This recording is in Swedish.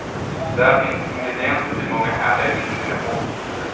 Där finns ingredienser till många härliga indiska måltider.